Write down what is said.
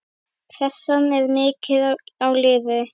Pressan er mikil á liðið.